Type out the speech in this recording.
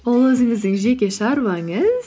ол өзіңіздің жеке шаруаңыз